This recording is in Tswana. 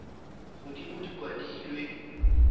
kwadilwe fa godimo di kwadilwe